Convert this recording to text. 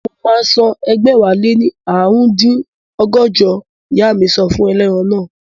Mo máa san ẹgbẹ̀wáléní ààrùndínní ọgọ́jọ, ìyá mi sọ fún ẹlẹ́ran naa